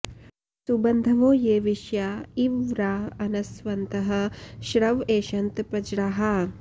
सुबन्धवो ये विश्या इव व्रा अनस्वन्तः श्रव ऐषन्त पज्राः